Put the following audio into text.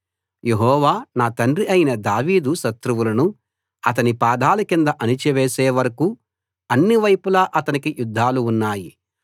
యెహోవా నా తండ్రి అయిన దావీదు శత్రువులను అతని పాదాల కింద అణచివేసే వరకూ అన్ని వైపులా అతనికి యుధ్ధాలు ఉన్నాయి